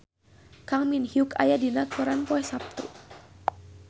Kang Min Hyuk aya dina koran poe Saptu